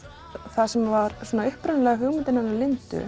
það sem var upprunalega hugmyndin hennar Lindu